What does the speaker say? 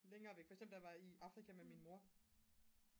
længere væk for eksempel da jeg var i Afrika med min mor